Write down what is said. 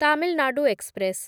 Tamil Nadu express